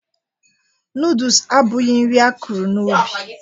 Noodus abụghị nri a kụrụ n'ubi